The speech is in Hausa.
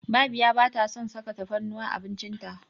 Babiya ba ta son saka tafarnuwa a abinci ta.